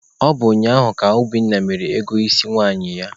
Ọ bụ ụnyaahụ ka Obinna mere ego isi nwaanyị ya.